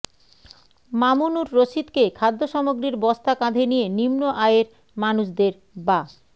মামুনুর রশীদকে খাদ্য সামগ্রীর বস্তা কাঁধে নিয়ে নিম্ন আয়ের মানুষদের বা